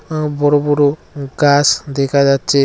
আঃ বড়ো বড়ো গাস দেখা যাচ্ছে।